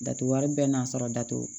Datugu wari bɛɛ n'a sɔrɔ datugu